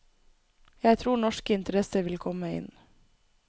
Jeg tror norske interesser vil komme inn.